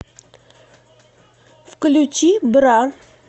включи бра